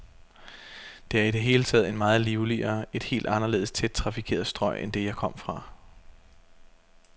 Det er i det hele taget et meget livligere, et helt anderledes tæt trafikeret strøg end det, jeg kom fra.